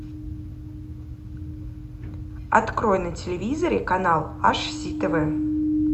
открой на телевизоре канал аш си тв